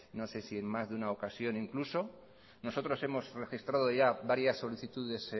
no sé si en más de una ocasión incluso nosotros hemos registrado ya varias solicitudes